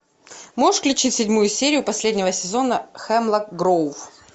можешь включить седьмую серию последнего сезона хемлок гроув